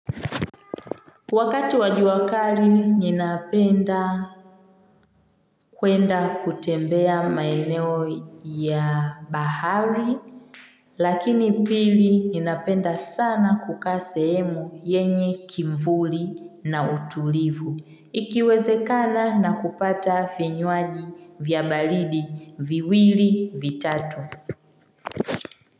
Wakati wajua kali ninapenda kwenda kutembea maeneo ya bahari. Lakini pili ninapenda sana kukaa sehemu yenye kivuli na utulivu. Ikiwezekana na kupata vinywaji vya baridi viwili vitatu.